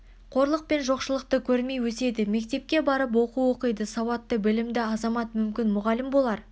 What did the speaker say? қорлық пен жоқшылықты кормей өседі мектепке барып оқу оқиды сауатты білімді азамат мүмкін мұғалім болар